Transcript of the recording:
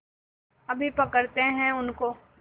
अभी पकड़ते हैं उनको